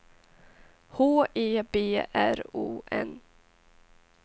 H E B R O N